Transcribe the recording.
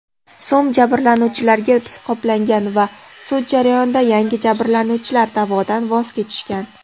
so‘m jabrlanuvchilarga qoplangan va sud jarayonida ayrim jabrlanuvchilar da’vodan voz kechishgan.